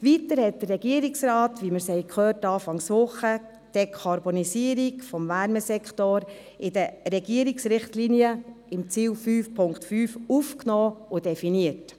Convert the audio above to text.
Weiter hat der Regierungsrat, wie wir gehört haben, zu Beginn dieser Woche die Dekarbonisierung des Wärmesektors in den Regierungsrichtlinien unter dem Ziel 5.5 aufgenommen und definiert.